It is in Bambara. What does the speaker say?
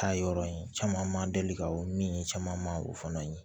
Taa yɔrɔ in caman ma deli ka o min caman ma o fana ye